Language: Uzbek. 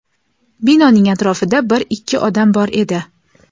Binoning atrofida bir-ikki odam bor edi.